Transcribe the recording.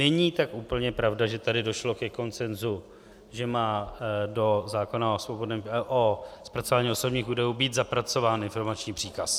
Není tak úplně pravda, že tady došlo ke konsenzu, že má do zákona o zpracování osobních údajů být zapracován informační příkaz.